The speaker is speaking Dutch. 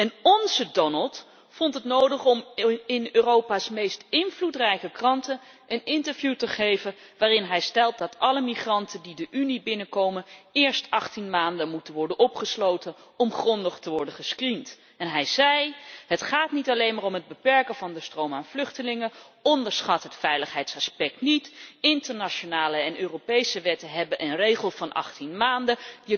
En ónze Donald vond het nodig om in Europa's meest invloedrijke kranten een interview te geven waarin hij stelt dat alle migranten die de Unie binnenkomen eerst 18 maanden moeten worden opgesloten om grondig te worden gescreend. Hij zei het gaat niet alleen om het beperken van de stroom aan vluchtelingen, onderschat het veiligheidsaspect niet, internationale en Europese wetten hebben een regel van 18 maanden.